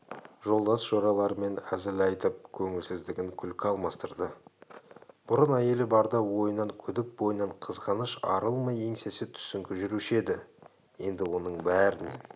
жолдас-жораларымен әзіл айтып көңілсіздігін күлкі алмастырды бұрын әйелі барда ойынан күдік бойынан қызғаныш арылмай еңсесі түсіңкі жүруші еді енді оның бәрінен